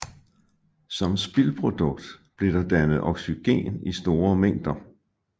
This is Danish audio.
Som spildprodukt blev der dannet oxygen i store mængder